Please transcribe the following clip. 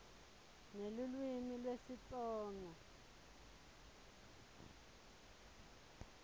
nelulwimi lesitsonga